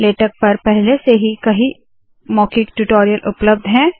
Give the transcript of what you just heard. LaTeX पर पहले से ही कई मौखिक ट्यूटोरियल उपलब्ध है